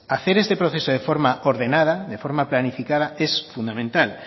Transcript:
hacer este proceso de forma ordenada de forma planificada es fundamental